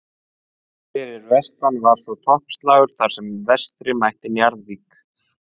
Fyrir vestan var svo toppslagur þar sem Vestri mætti Njarðvík.